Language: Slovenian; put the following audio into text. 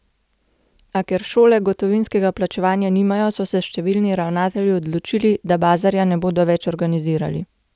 A, ker šole gotovinskega plačevanja nimajo, so se številni ravnatelji odločili, da bazarja ne bodo več organizirali.